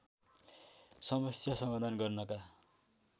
समस्या समाधान गर्नका